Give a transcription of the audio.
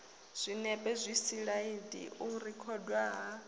zwinepe zwisilaidi u rekhodwa ha